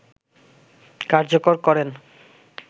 কার্যকর করেন